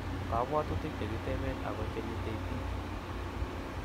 kabwotutik chekipeten ako che nyitei biik